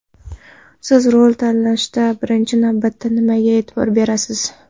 Siz rol tanlashda birinchi navbatda nimaga e’tibor berasiz?